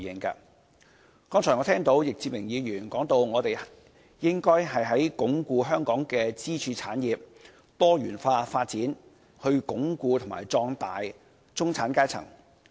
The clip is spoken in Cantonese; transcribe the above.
剛才我聽到易志明議員提到，我們應該鞏固香港的支柱產業多元化發展，以鞏固和壯大中產階層。